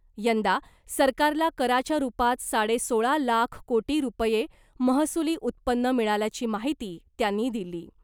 यंदा सरकारला कराच्या रुपात साडे सोळा लाख कोटी रुपये महसुली उत्पन्न मिळाल्याची माहिती त्यांनी दिली .